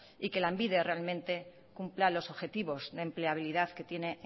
y que lanbide realmente cumpla los objetivos de empleabilidad que tiene